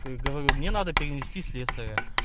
к говорю мне надо перенести слесаря